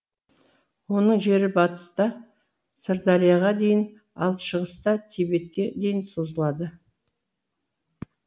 оның жері батыста сырдарияға дейін ал шығыста тибетке дейін созылады